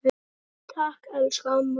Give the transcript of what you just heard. Takk, elsku amma mín.